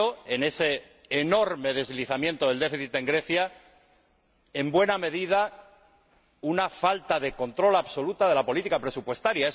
En ese enorme deslizamiento del déficit en Grecia, ha habido en buena medida una falta de control absoluta de la política presupuestaria.